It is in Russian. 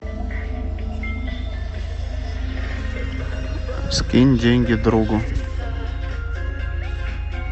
скинь деньги другу